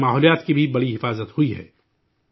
اس سے ماحولیات کی بھی بڑی حفاظت ہوئی ہے